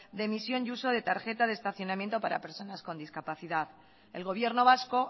de emisión y uso de tarjeta de estacionamientos para personas con discapacidad el gobierno vasco